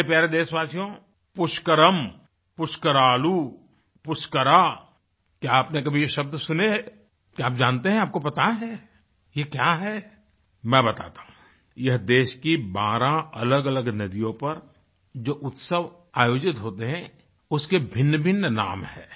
मेरे प्यारे देशवासियों पुष्करम पुष्करालू पुष्करः क्या आपने कभी ये शब्द सुने हैं क्या आप जानते हैं आपको पता है ये क्या है मै बताता हूँ यह देश कि बारह अलग अलग नदियों पर जो उत्सव आयोजित होते हैं उसके भिन्न भिन्न नाम है